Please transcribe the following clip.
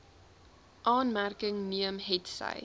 aanmerking neem hetsy